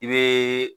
I be